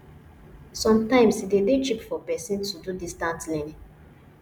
sometimes e dey dey cheap for person to do distance learning